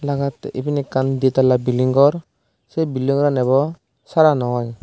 dega jatte iben ekkan di tala building ghor se building ghoran ebo sara nw oi.